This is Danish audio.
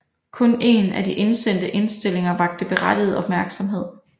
Kun en af de indsendte indstillinger vakte berettiget opmærksomhed